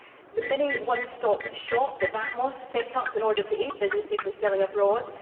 The Mini One Stop Shop, the VAT MOSS, was set up in order to aid businesses when selling abroad.